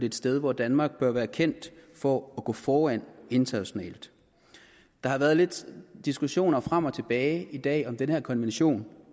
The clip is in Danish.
et sted hvor danmark bør være kendt for at gå foran internationalt der har været lidt diskussion frem og tilbage i dag om hvorvidt den her konvention